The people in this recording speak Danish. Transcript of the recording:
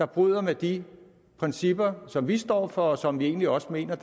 bryder med de principper som vi står for og som vi egentlig også mener